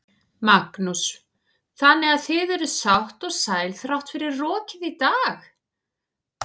Magnús: Þannig að þið eruð sátt og sæl þrátt fyrir rokið í dag?